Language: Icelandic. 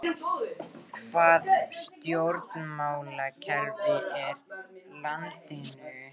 Hvaða stjórnmálakerfi er í landinu